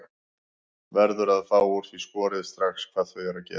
Verður að fá úr því skorið strax hvað þau eru að gera.